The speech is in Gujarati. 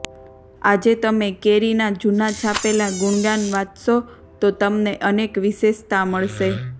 આજે તમે કેરીના જૂના છાપેલા ગુણગાન વાંચશો તો તમને અનેક વિશેષતા મળશે